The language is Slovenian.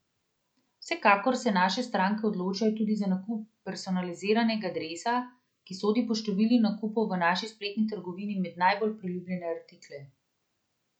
Vsekakor se naše stranke odločajo tudi za nakup personaliziranega dresa, ki sodi po številu nakupov v naši spletni trgovini med najbolj priljubljene artikle.